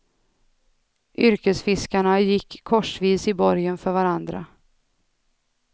Yrkesfiskarna gick korsvis i borgen för varandra.